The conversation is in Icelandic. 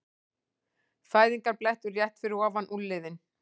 Fæðingarblettur rétt fyrir ofan úlnliðinn.